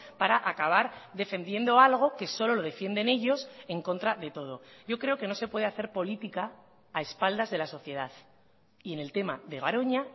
para acabar defendiendo algo que solo lo defienden ellos en contra de todo yo creo que no se puede hacer política a espaldas de la sociedad y en el tema de garoña